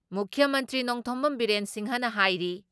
ꯃꯨꯈ꯭ꯌ ꯃꯟꯇ꯭ꯔꯤ ꯅꯣꯡꯊꯣꯝꯕꯝ ꯕꯤꯔꯦꯟ ꯁꯤꯡꯍꯅ ꯍꯥꯏꯔꯤ